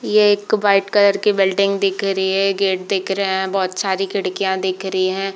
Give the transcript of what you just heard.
ये एक white colour की बिल्डिंग दिख रही हैगेट दिख रहा हैबहुत सारेबहुत सारे खिड़कियां दिख रही है।